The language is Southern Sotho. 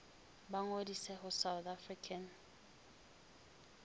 ba ngodise ho south african